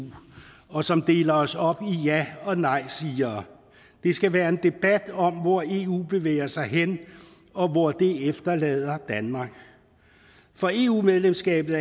og som deler os op i ja og nejsigere det skal være en debat om hvor eu bevæger sig hen og hvor det efterlader danmark for eu medlemskabet